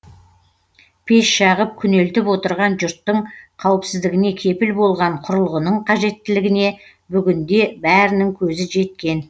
пеш жағып күнелтіп отырған жұрттың қауіпсіздігіне кепіл болған құрылғының қажеттілігіне бүгінде бәрінің көзі жеткен